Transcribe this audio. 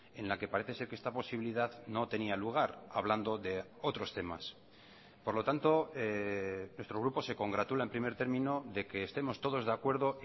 en la que parece ser que esta posibilidad no tenía lugar hablando de otros temas por lo tanto nuestro grupo se congratula en primer término de que estemos todos de acuerdo